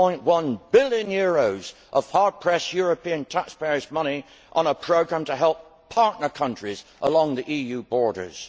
1.1 billion of hard pressed European taxpayers' money on a programme to help partner countries along the EU borders.